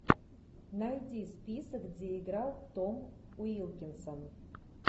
найди список где играл том уилкинсон